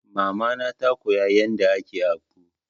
Mama na ta koya yadda ake akpu.